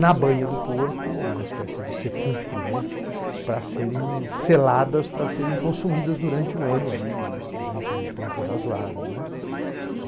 na banha do porco, numa espécie de sepulcro, né, para serem seladas, para serem consumidas durante um ano, durante um tempo razoável, né.